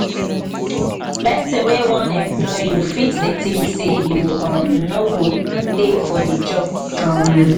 person wey wan employ you fit dey think sey you um no go tey for di job um